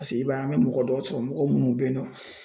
Paseke i b'a ye an bɛ mɔgɔ dɔ sɔrɔ mɔgɔ munnu bɛ yen nɔ ,